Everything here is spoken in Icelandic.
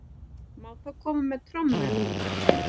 Má þá koma með trommur núna?